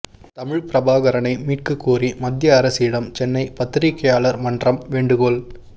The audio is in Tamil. தமிழ் பிரபாகரனை மீட்கக் கோரி மத்திய அரசிடம் சென்னை பத்திரிகையாளர் மன்றம் வேண்டுகோள்